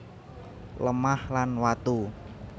Lemah lan watu